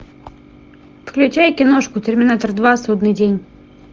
включай киношку терминатор два судный день